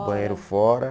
Um banheiro fora.